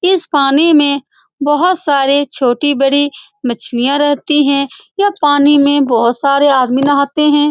इस पानी में बहुत सारे छोटी-बड़ी मछलियां रहती है यह पानी में बहुत सारे आदमी नहाते है।